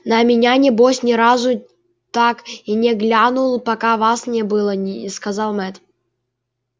на меня небось ни разу так и не глянул пока вас не было сказал мэтт